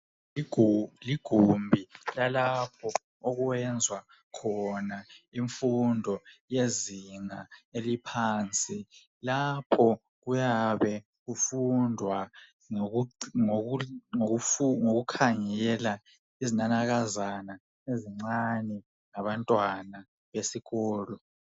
Igumbi lalapho okwenzwa khona imfundo yezinga eliphansi. Lapho kuyabe kufundwa ngokukhangela izinanakazana ezincinyane ngabantwana besikolo.